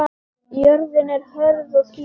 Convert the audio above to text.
Jörðin er hörð og skítug.